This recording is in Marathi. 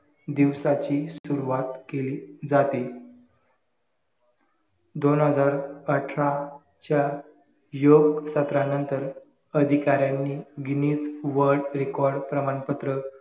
दिवसाची सुरवात केली जाते दोन हजार अठरा च्या योग सत्रा नंतर अधिकाऱ्यांनी गिनिस world record प्रमाणपत्र